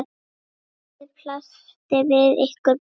Lífið blasti við ykkur Bubba.